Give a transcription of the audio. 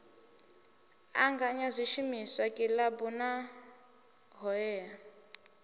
anganya zwishumiswa kilabu na hoea